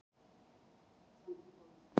Maður þekkir allt hjá Keflavík.